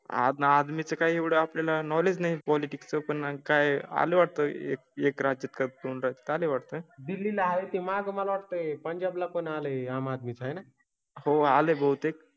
आधीच काही एवढं आपल्या ला नॉलेज नाहीं. पॉलिटिक्स चं पण काय आले वाटतो? एक राज्य काळ राहता आले वाटतोय. दिली आहे माझा. मला वाटतय पंजाब ला पण आले आम आदमी चा आहे ना हो. आलें बहुतेक.